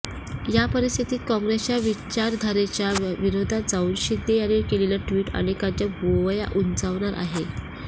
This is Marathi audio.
या परिस्थितीत काँग्रेसच्या विचारधारेच्या विरोधात जाऊन शिंदे यांनी केलेलं ट्वीट अनेकांच्या भुवया उंचावणारं आहे